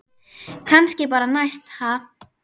Kannski bara næst, ha!